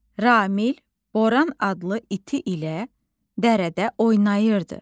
Ramil Boran adlı iti ilə dərdə oynayırdı.